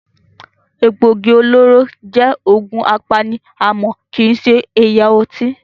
Egbògi olóró jẹ́ òògùn apani àmọ́ kii ṣe ẹ̀yà ọtí.